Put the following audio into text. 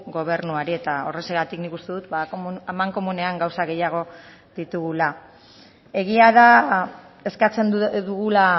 gobernuari eta horrexegatik nik uste dut amankomunean gauza gehiago ditugula egia da eskatzen dugula